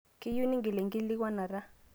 keyieu ningil enkikilikuanata